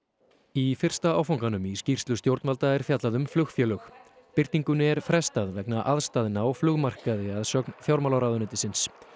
í fyrsta áfanganum í skýrslu stjórnvalda er fjallað um flugfélög birtingunni er frestað vegna aðstæðna á flugmarkaði að sögn fjármálaráðuneytisins